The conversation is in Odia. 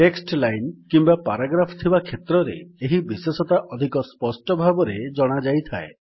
ଟେକ୍ସଟ୍ ଲାଇନ୍ କିମ୍ୱା ପାରାଗ୍ରାଫ୍ ଥିବା କ୍ଷେତ୍ରରେ ଏହି ବିଶେଷତା ଅଧିକ ସ୍ପଷ୍ଟ ଭାବରେ ଜଣାଯାଇଥାଏ